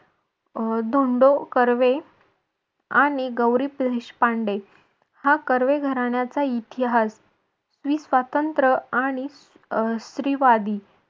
अं धोंडो कर्वे आणि गौरी देशपांडे हा कर्वे घराण्याचा इतिहास स्वातंत्र आणि अह स्त्रीवादी